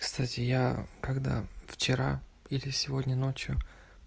кстати я когда вчера или сегодня ночью